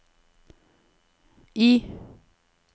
I